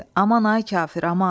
Aman, ay kafir, aman!